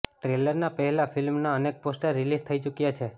ટ્રેલરના પહેલા ફિલ્મના અનેક પોસ્ટર રિલીઝ થઈ ચૂક્યા છે